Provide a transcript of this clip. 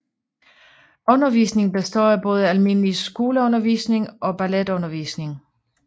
Undervisningen består af både almindelig skoleundervisning og balletundervisning